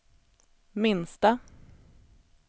minsta